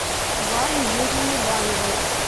вале юрьевне баевой